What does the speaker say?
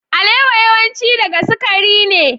Alewa yawanci daga sukari ne.